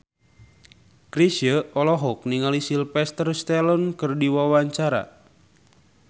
Chrisye olohok ningali Sylvester Stallone keur diwawancara